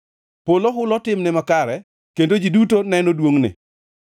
Polo hulo timne makare, kendo ji duto neno duongʼne.